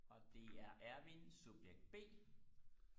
og det er Ervin subjekt b